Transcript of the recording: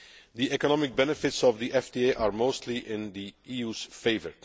The economic benefits of the FTA are mostly in the EU's favour.